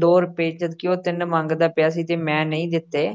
ਦੋ ਰੁਪਏ ਜਦ ਕਿ ਉਹ ਤਿੰਨ ਮੰਗਦਾ ਪਿਆ ਸੀ ਤੇ ਮੈਂ ਨਹੀਂ ਦਿੱਤੇ।